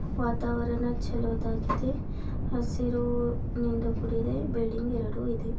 ವಾತವರಣ ಚಲೋದಾಗಿದೆ ಹಸಿರಿನಿಂದ ಕೂಡಿದೆ ಬಿಲ್ಡಿಂಗ್ ಎರಡು ಇದೇ.